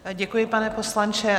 Děkuji, pane poslanče.